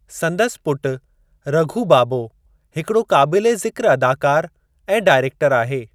संदसि पुटु रघू बाबो हिकड़ो क़ाबिले ज़िक्र अदाकार ऐं डाइरेक्टरु आहे।